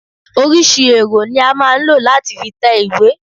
Oríṣiríṣi èrò ni a máa ń lọ láti fi tẹ ìwé.